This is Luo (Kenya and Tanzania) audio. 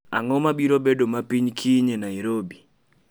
Ang'o mabiro bedo ma piny kiny e Nairobi